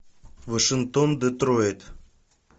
вашингтон детройт